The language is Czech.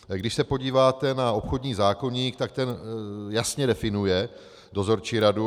Když se podíváte na obchodní zákoník, tak ten jasně definuje dozorčí radu.